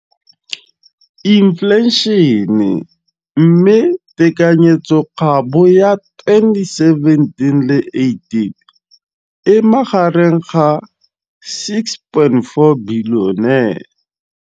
Infleišene, mme tekanyetsokabo ya 2017, 18, e magareng ga R6.4 bilione.